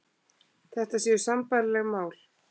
Þetta séu sambærileg mál